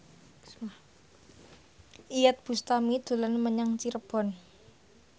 Iyeth Bustami dolan menyang Cirebon